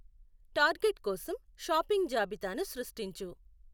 Target కోసం shopping జాబితా ను సృష్టించు.